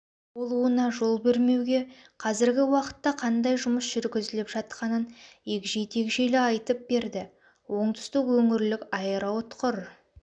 болуына жол бермеуге қазіргі уақытта қандай жұмыс жүргізіліп жатқанын егжей-тегжейлі айтып берді оңтүстік өңірлік аэроұтқыр